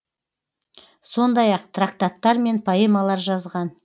сондай ақ трактаттар мен поэмалар жазған